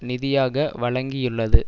நிதியாக வழங்கியுள்ளது